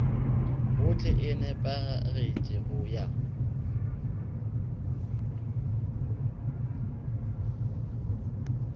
gohle e nepagetše go ya